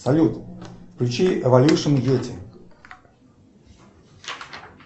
салют включи эволюшн йети